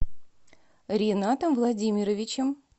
ринатом владимировичем